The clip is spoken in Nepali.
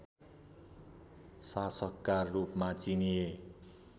शासकका रूपमा चिनिए